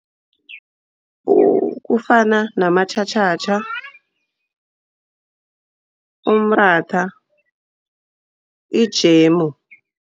Kufana namatjhatjhatjha, umratha ijemu.